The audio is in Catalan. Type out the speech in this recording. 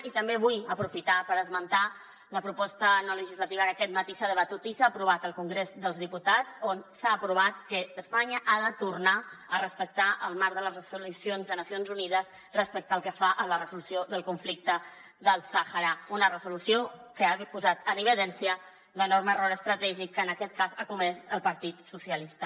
i també vull aprofitar per esmentar la proposta no legislativa que aquest matí s’ha debatut i s’ha aprovat al congrés dels diputats on s’ha aprovat que espanya ha de tornar a respectar el marc de les resolucions de nacions unides respecte al que fa a la resolució del conflicte del sàhara una resolució que ha posat en evidència l’enorme error estratègic que en aquest cas ha comès el partit socialista